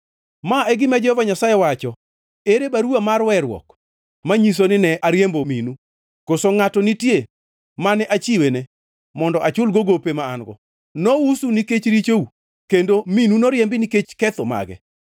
Ma e gima Jehova Nyasaye wacho, Ere baruwa mar weruok manyiso nine ariembo minu? Koso ngʼato nitie mane achiwene mondo achulgo gope ma an-go? Nousu nikech richou; kendo minu noriembi nikech ketho mage.